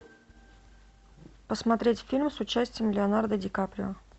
посмотреть фильм с участием леонардо ди каприо